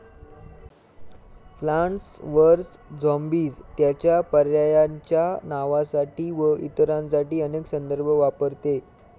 Plants versus zombies त्याच्या पर्यायायांच्या नावासाठी व इतरांसाठी अनेक संदर्भ वापरते.